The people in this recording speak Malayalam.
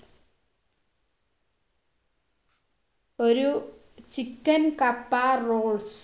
ഒരു chicken കപ്പ rolls